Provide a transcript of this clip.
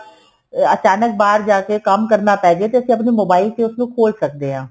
ਅਚਾਨਕ ਬਾਹਰ ਜਾ ਕੇ ਕੰਮ ਕਰਨਾ ਪੈ ਜੇ ਤੇ ਅਸੀਂ ਆਪਣੇ mobile ਤੇ ਉਸ ਨੂੰ ਖੋਲ ਸਕਦੇ ਆ